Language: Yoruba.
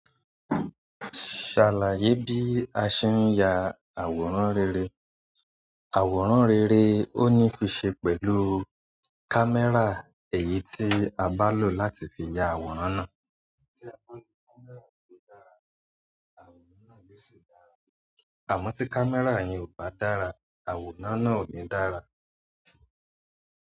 Ṣàlàyé bí a ṣe ń ya àwòrán rere. Àwòrán rere ó ní fí ṣe pẹ̀lú kámẹ́rà. Èyí tí a bá lò láti fi ya àwòrán náà. Àmọ́ tí kámẹ́rà yẹn ò bá dára, àwòrán náà ò ní dára.